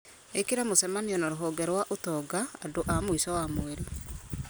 ĩkĩra mũcemanio na rũhonge rwa ũtonga andũ a mũico wa mweri